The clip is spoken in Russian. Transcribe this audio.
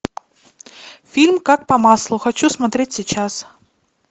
фильм как по маслу хочу смотреть сейчас